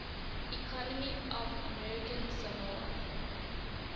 economy of american samoa